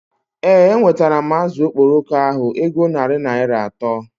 Ee, enwetara m azụ okporoko ahu ego na narị Naịra atọ